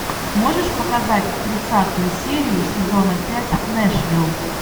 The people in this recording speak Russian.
можешь показать тридцатую серию сезона пять нэшвилл